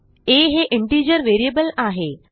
आ हे integer variable आहे